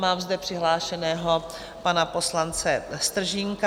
Máme zde přihlášeného pana poslance Stržínka.